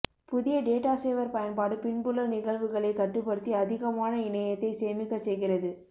புதிய data saver பயன்பாடு பின்புல நிகழ்வுகளை கட்டுப்படுத்தி அதிகமான இணையத்தை சேமிக்கச் செய்கிறது